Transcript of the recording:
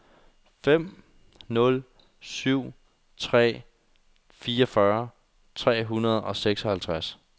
fem nul syv tre fireogfyrre tre hundrede og seksoghalvtreds